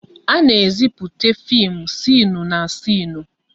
A na-ezipụte fim sịnụ na sịnụ